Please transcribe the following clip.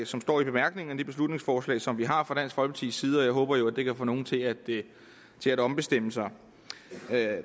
som står i bemærkningerne til det beslutningsforslag som vi har fremsat side og jeg håber jo at det kan få nogen til at til at ombestemme sig